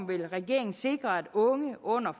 vil regeringen sikre at unge under